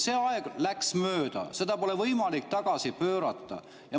See aeg läks mööda, seda pole võimalik tagasi pöörata.